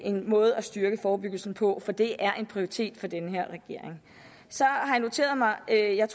en måde at styrke forebyggelsen på for det er en prioritet for den her regering så har jeg noteret mig at jeg